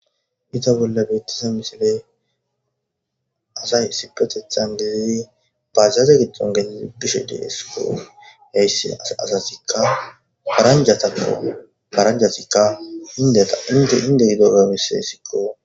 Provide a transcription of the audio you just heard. Izza bolla betiza missile asayi issippeteththan gididi bajaja gidonn gelu uttishshe de'eskko .heyiss asazikka paranjata giddonni paranjatikka hinde gidobba besesikko.